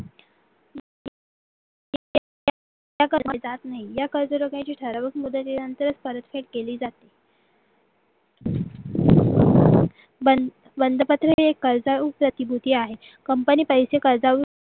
त्या केल्या जात नाही या कजरोकांची ठराविक मुदतीनंतर सुरक्षित केली जाते बंद प्रती कर्जाळू प्रतिबद्धी आहे company पैसे खर्च कर्जाउ